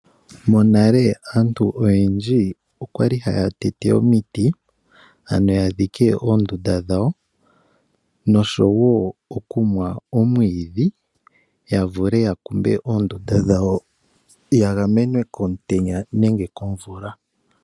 Monale aantu oyendji okwali haya tete omiti, opo ya dhike oondunda dhawo, nosho wo okumwa omwidhi, ya vule ya kumbe oondunda dhawo, ya gamenwe komutenya nenge komvula.